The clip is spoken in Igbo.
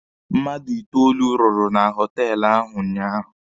Mmadụ itoolu rụrụ na họtelụ ahụ ụnyaahụ.